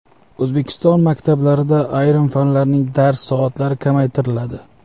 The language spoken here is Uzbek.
O‘zbekiston maktablarida ayrim fanlarning dars soatlari kamaytiriladi.